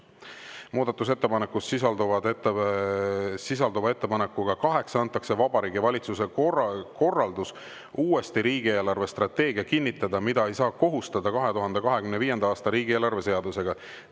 3) Muudatusettepanekus sisalduva ettepanekuga 8 antakse Vabariigi Valitsusele korraldus uuesti riigieelarve strateegia kinnitada, mida ei saa kohustada 2025. aasta riigieelarve seadusega.